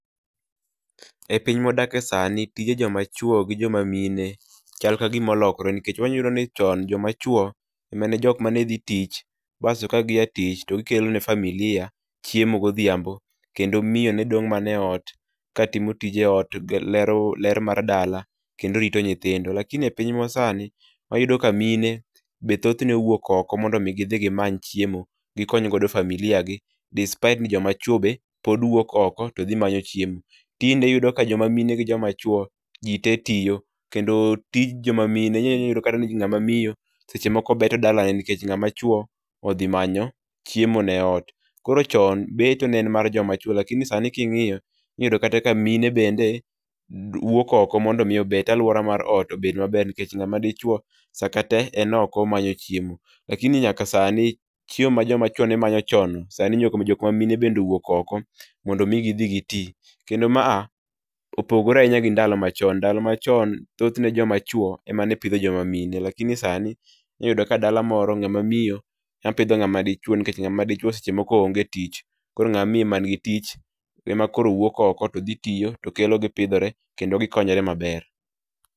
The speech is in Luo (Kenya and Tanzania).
E piny mawadake sani tije joma chwo gi jom amine chal ka gima olokore nikech wanyayudo ni chon joma chwo e jok mane dhi tich bas to ka gia tich to gikelo ne familia chiemo godhiambo kendo miyo ne dong' mana e ot ka timo tije ot ler mar dala kendo rito nyithindo lakini epiny ma sani wa yudo ka mine be thoth ne wuok oko mondo mi gimany chiemo gokony godo familia gi despite ni joma chwo bende pod wuok oko to dhi manyo chiemo. Tinde iyudo ka joma mine ni joma chwo jii te tiyo kendo tij joma mine inyalo yudokata ni ngama miyo sechemoko beto dalane nikech ng'ama chwo seche moko odhi manyo chiemo ne ot, koro chon beto ne en mae joma chwo lakini sani king'io inyalo yudo kata ka mine bende wuok oko mondo mi obet aluora mar ot obed maber nikech ng'ama dichuo sa kaa tee en oko omanto chiemo lakini nyaka sani chiemo ma joma chwo ne manyo chon sani nyka jok ma mine be owuok oko mondo mi gi dhi gi ti kendo ma a opogore ahinya gi ndalo machon, ndalo machon thothne joma chwo ema ne pitho joma mine lakini inya yudo ka dala moro nga ma miyo ema pitho ngama dichuo nikech ngama dichwe seche moko ong'e tich koro ng'ama miyo ong'e tich e makoro wuok oko to dhi tiyo to kelo gipidhore kendo gikonyore maber.